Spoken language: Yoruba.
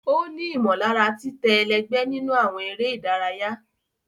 O ni imọlara titẹ ẹlẹgbẹ nínú awọn eré ìdárayá.